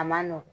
A man nɔgɔn